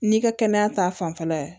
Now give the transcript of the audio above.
N'i ka kɛnɛya ta fanfɛla ye